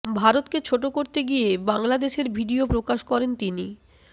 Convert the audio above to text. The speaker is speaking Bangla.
ভারতকে ছোট করতে গিয়ে বাংলাদেশের ভিডিয়ো প্রকাশ করেন তিনি